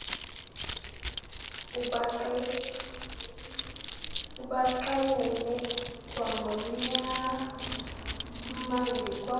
ubaxelele kwangonyama ndikwazi